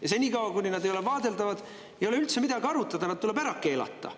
Ja senikaua, kuni nad ei ole vaadeldavad, ei ole üldse midagi arutada, nad tuleb ära keelata.